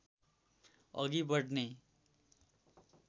अघि बढ्ने